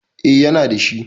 A ya na dashi